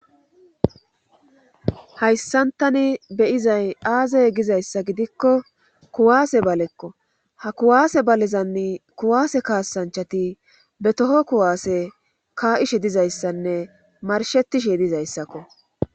Hayssantani beyizay aazey gizayssa gidikko kuwaase balekko ha kuwaase balezanni kuwaase kaasanchati be toho kuwaase kaa7ishe dizayssanne marshetishe dizayssakko